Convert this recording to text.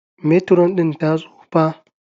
Metiron din ta tsufa